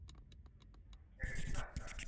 ரெண்டு songs ஆ